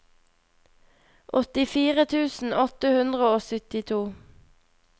åttifire tusen åtte hundre og syttito